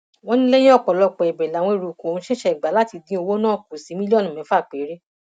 wọn ní lẹyìn ọpọlọpọ ẹbẹ làwọn eruùkù ọhún ṣẹṣẹ gbà láti dín owó náà kù sí mílíọnù mẹfà péré